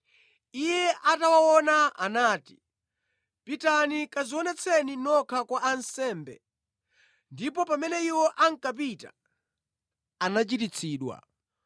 Iye atawaona, anati, “Pitani kadzionetseni nokha kwa ansembe.” Ndipo pamene iwo ankapita, anachiritsidwa.